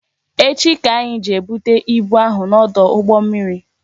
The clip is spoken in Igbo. Echi ka anyị jee bute ibu ahụ n'ọdụ ụgbọ mmiri